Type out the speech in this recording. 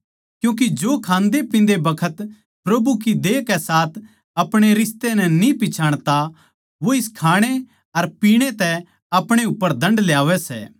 क्यूँके जो खांदेपिंदे बखत प्रभु की देह के साथ अपणे रिश्ते नै न्ही पिच्छाणता वो इस खाणै अर पीणै तै अपणे उप्पर दण्ड ल्यावै सै